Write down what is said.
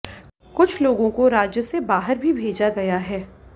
कुछ लोगों को राज्य से बाहर भी भेजा गया है